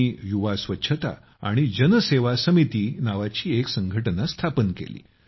त्यांनी युवा स्वच्छता आणि सेवा समिती नावाची एक संघटना स्थापन केली